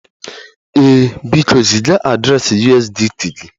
Ee, biko ziga adreesị USDT gị